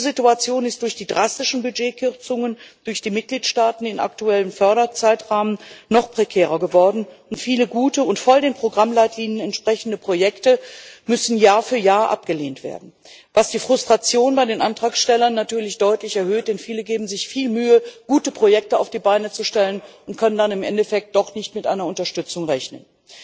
Diese Situation ist durch die drastischen Budgetkürzungen durch die Mitgliedstaaten im aktuellen Förderzeitraum noch prekärer geworden, und viele gute und voll den Programmleitlinien entsprechende Projekte müssen Jahr für Jahr abgelehnt werden, was die Frustration bei den Antragstellern natürlich deutlich erhöht, denn viele geben sich viel Mühe, gute Projekte auf die Beine zu stellen, und können dann im Endeffekt doch nicht mit einer Unterstützung rechnen.